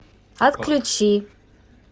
отключи